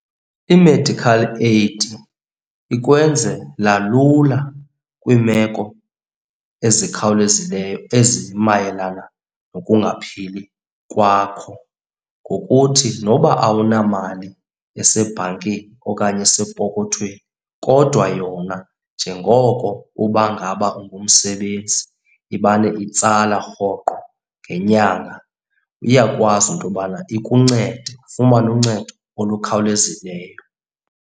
I-medical aid ikwenzela lula kwiimeko ezikhawulezileyo ezimayelana nokungaphili kwakho ngokuthi noba awunamali esebhankini okanye esepokothweni kodwa yona njengoko uba ngaba ungumsebenzi imane itsala rhoqo ngenyanga. Iyakwazi into yobana ikuncede ufumane uncedo olukhawulezileyo.